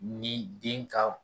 Ni den ka